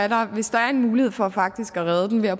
og hvis der er en mulighed for faktisk at redde den ved at